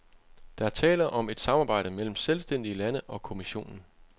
Der er tale om et samarbejde mellem selvstændige lande og kommissionen.